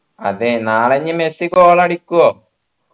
അതെ നാളെ ഇനി മെസ്സി goal അടിക്കുവോ